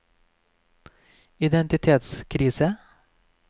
identitetskrise